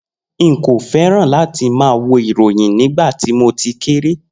Nko fẹràn lati ma wo ìròyìn nígbàtí mo tí kéré.